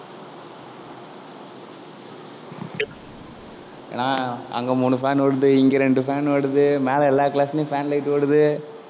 ஏன்னா அங்க மூணு fan ஓடுது, இங்க ரெண்டு fan ஓடுது, மேல எல்லா class லயும் fan light ஓடுது